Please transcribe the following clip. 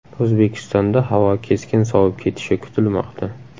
O‘zbekistonda havo keskin sovib ketishi kutilmoqda .